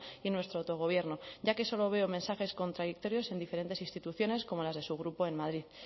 y nuestro autogobierno ya que solo veo mensajes contradictorios en diferentes instituciones como las de su grupo en madrid